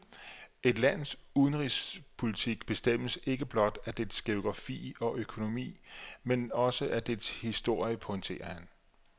Et lands udenrigspolitik bestemmes ikke blot af dets geografi og økonomi, men også af dets historie, pointerer han.